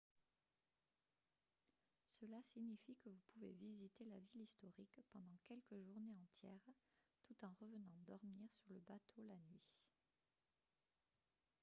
cela signifie que vous pouvez visiter la ville historique pendant quelques journées entières tout en revenant dormir sur le bateau la nuit